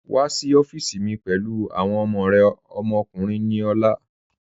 Wa sí ọ̀fíìsí mi pẹ̀lú awọn ọmọ rẹ ọmọkùnrin ni ọlá